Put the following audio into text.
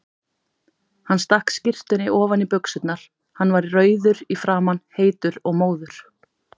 Hann stakk skyrtunni ofan í buxurnar, hann var rauður í framan, heitur og móður.